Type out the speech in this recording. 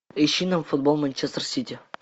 ищи нам футбол манчестер сити